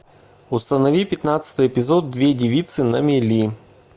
установи пятнадцатый эпизод две девицы на мели